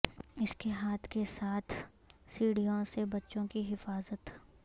اس کے ہاتھ کے ساتھ سیڑھیوں سے بچوں کی حفاظت